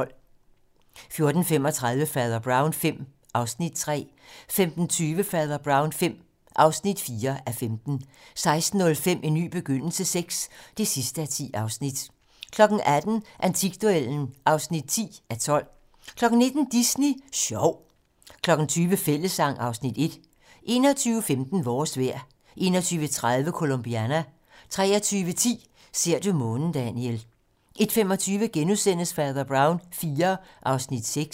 14:35: Fader Brown V (3:15) 15:20: Fader Brown V (4:15) 16:05: En ny begyndelse VI (10:10) 18:00: Antikduellen (10:12) 19:00: Disney Sjov 20:00: Fællessang (Afs. 1) 21:15: Vores vejr 21:30: Colombiana 23:10: Ser du månen, Daniel 01:25: Fader Brown IV (6:15)*